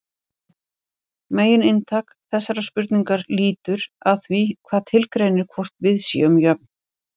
Megininntak þessarar spurningar lítur að því hvað tilgreinir hvort við séum jöfn.